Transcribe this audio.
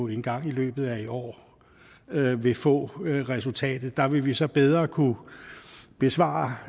engang i løbet af i år vil få resultatet der vil vi så bedre kunne besvare